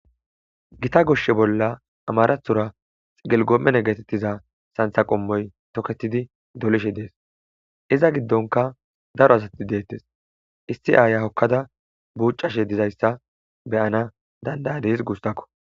gita goshshe bolla amarathura xigelgoommene getettiza santha qommoy toketidi dolishe dees iza giddonka daro asati deettes isti aaya hokkada buucashe dizayssa beyana dandayadis guustakko